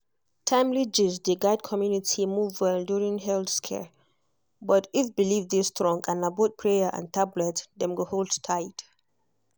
timely gist dey guide community move well during health scare but if belief dey strong na both prayer and tablet dem go hold tight.